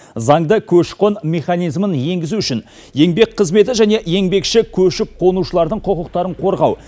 заңды көші қон механизмін енгізу үшін еңбек қызметі және еңбекші көшіп қонушылардың құқықтарын қорғау